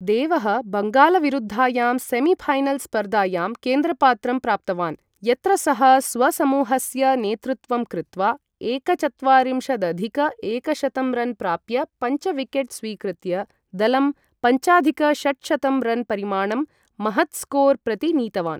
देवः बङ्गालविरुद्धायां सेमीफैनल् स्पर्धायां केन्द्रपात्रं प्राप्तवान्, यत्र सः स्वसमूहस्य नेतृत्वं कृत्वा एकचत्वारिंशदधिक एकशतं रन् प्राप्य पञ्च विकेट् स्वीकृत्य दलं पञ्चाधिक षट्शतं रन् परिमाणं, महत् स्कोर् प्रति नीतवान्।